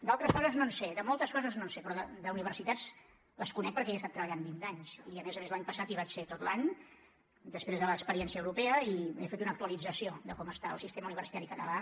d’altres coses no en sé de moltes coses no en sé però les universitats les conec perquè hi he estat treballant vint anys i a més a més l’any passat hi vaig ser tot l’any després de l’experiència europea i he fet una actualització de com està el sistema universitari català